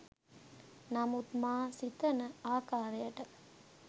නමුත් මා සිතන ආකාරයට